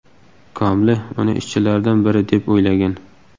Komli uni ishchilardan biri deb o‘ylagan.